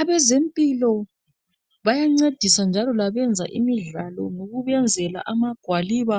abezempilo bayancedisa njalo labenza imidlalo ngokubenzela amagwaliba